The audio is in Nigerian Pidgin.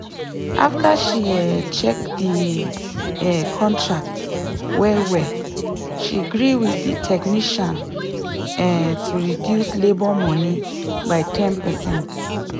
after she um check the um contract well well she gree with the technician um to reduce labour money by 10%